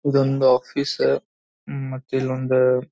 ಇದೊಂದ office ಉಹ್ ಮತ್ತ ಇಲೊಂದ್ --